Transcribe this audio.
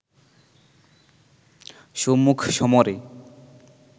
সম্মুখ সমরে